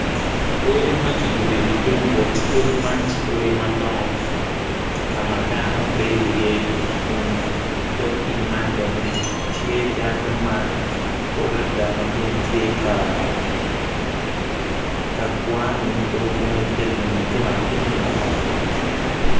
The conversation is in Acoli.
Odi ma ki yubi ilung gut odi man ti odi ma dongo ka ma dano bedi iye kun dig pii man bene tye dano ma pol adada ma gin tye ka kwang jo kene tye ka timo jami atimagi mapatpat